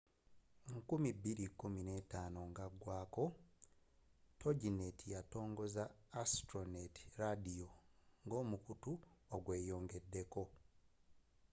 2015 nga agwaako toginet yatongoza astronet ladiyo nga omukuto ogweyongedeko